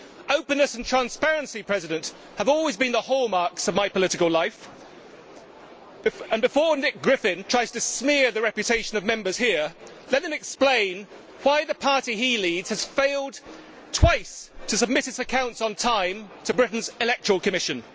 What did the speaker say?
Openness and transparency have always been the hallmarks of my political life, and, before Nick Griffin tries to smear the reputation of Members here, let him explain why the party he leads has failed twice to submit its accounts on time to Britain's Electoral Commission.